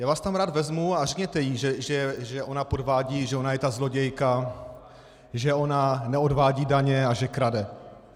Já vás tam rád vezmu a řekněte jí, že ona podvádí, že ona je ta zlodějka, že ona neodvádí daně a že krade.